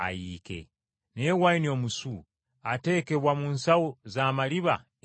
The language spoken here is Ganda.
Naye wayini omusu ateekebwa mu nsawo za maliba empya.